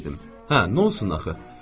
Hə, nonsens axı.